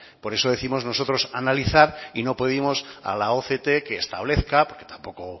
por eso décimos nosotros analizar y no pedimos a la oct que establezca porque tampoco